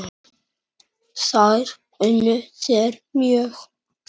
Þær unnu þér mjög.